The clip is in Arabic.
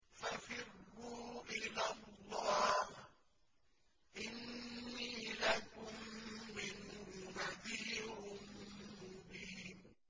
فَفِرُّوا إِلَى اللَّهِ ۖ إِنِّي لَكُم مِّنْهُ نَذِيرٌ مُّبِينٌ